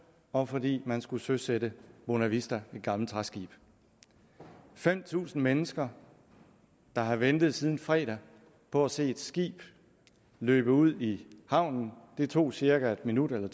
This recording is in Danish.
og fordi man skulle søsætte bonavista et gammelt træskib fem tusind mennesker havde ventet siden fredag på at se et skib løbe ud i havnen det tog cirka en minut eller